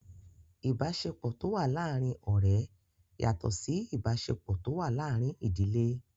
Ìbáṣepọ̀ tó wà láàrin ọ̀rẹ́ yàtọ̀ Sí ìbáṣepọ̀ tó wà láàrin ìdílé.